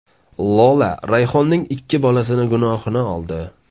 Lola Rayhonning ikki bolasini gunohini oldi.